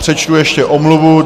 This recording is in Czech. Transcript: Přečtu ještě omluvu.